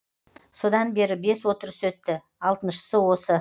содан бері бес отырыс өтті алтыншысы осы